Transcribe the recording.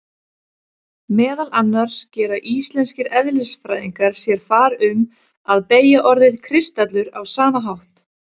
Meðal annars gera íslenskir eðlisfræðingar sér far um að beygja orðið kristallur á sama hátt.